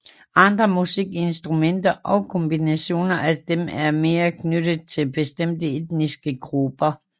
Andre musikinstrumenter og kombinationer af dem er mere knyttet til bestemte etniske grupper